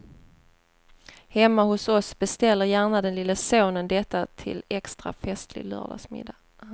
Hemma hos oss beställer gärna den lille sonen detta till extra festlig lördagsmiddag.